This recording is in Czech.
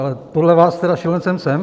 Ale podle vás tedy šílencem jsem.